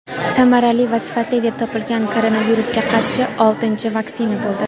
samarali va sifatli deb topilgan koronavirusga qarshi oltinchi vaksina bo‘ldi.